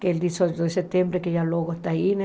Que é o dezoito de setembro, que já logo está aí, né?